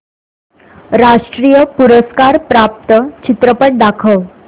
राष्ट्रीय पुरस्कार प्राप्त चित्रपट दाखव